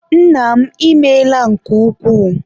Nna m, ịmeela nke ukwuu